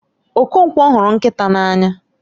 Okonkwo huru nkita n'anya